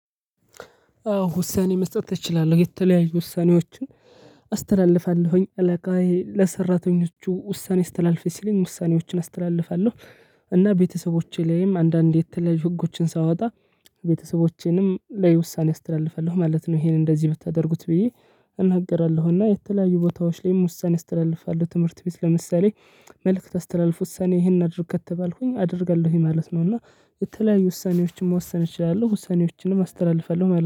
ውሳኔ መስጠት ትችላለሁ የተለያዩ ውሳኔዎችን አስተላልፋለሁኝ። አለቃዬ ለሰራተኞቹ ውሳኔ አስተላልፌ ሲለኝ ውሳኔዎችን አስተላልፋለሁ። እና ቤተሰቦቼ ላይም፤ አንዳንዴ የተለያዩ ህጎችን ሳወጣ ቤተሰቦቼንም ለውሳኔ አስተላልፋለሁ ማለት ነው። ይሄን እንደዚህ ብታደርጉት ብዬ እናገራለሁና የተለያዩ ቦታዎች ላይም ውሳኔ አስተላልፋለሁ። ትምህርት ቤት ለምሳሌ መልእክት አስተላልፊ ሰኔ ይሄን አድርግ ከተባልኩኝ አደርጋለሁኝ ማለት ነው እና የተለያዩ ውሳኔዎችን መወሰን እችላለሁ ውሳኔዎችንም አስተላልፋለሁ ማለት ነው።